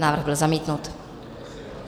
Návrh byl zamítnut.